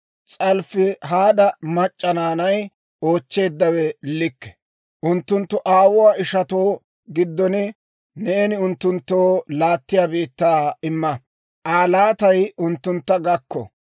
«S'alofihaada mac'c'a naanay oochcheeddawe likke; unttunttu aawuwaa ishanttu giddon neeni unttunttoo laattiyaa biittaa imma; Aa laatay unttuntta gakko.